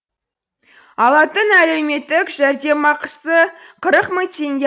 алатын әлеуметтік жәрдемақысы қырық мың теңге